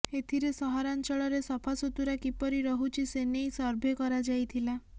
ଏଥିରେ ସହରାଞ୍ଚଳରେ ସଫାସୁତୁରା କିପରି ରହୁଛି ସେ ନେଇ ସର୍ଭେ କରାଯାଇଥିଲା